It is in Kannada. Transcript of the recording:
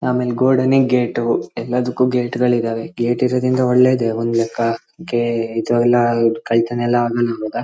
ಆಮೇಲ್ ಗೋಡನಿಗ್ ಗೇಟು ಎಲ್ಲದಕ್ಕೂ ಗೇಟ್ಗಳ್ ಇದಾವೆ ಗೇಟ್ ಇರೋದ್ರಿಂದ ಒಳ್ಳೇದೇ ಒಂದ್ ಲೆಕ್ಕ ಇಂತವೆಲ್ಲ ದೊಡ್ಡ್ ಕಳ್ತಾನಾ ಎಲ್ಲ ಆಗಲ್ಲ ಅವಾಗ .